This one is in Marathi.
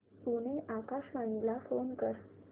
पुणे आकाशवाणीला फोन कर